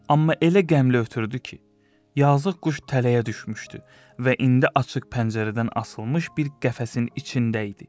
Amma elə qəmli ötürdü ki, yazıq quş tələyə düşmüşdü və indi açıq pəncərədən asılmış bir qəfəsin içində idi.